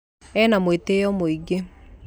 Ena mũĩtĩyo mũingĩ.